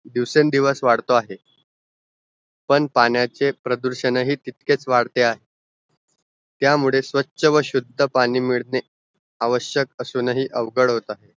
दिवसेंदिवस वाढतो आहे पण पाण्याचे प्रदूषण हि तितकेच वाढते आहे त्यामुळे स्वछ व शुद्ध पाणी मिल्ने आवश्यक असुनही अवघड होत आहे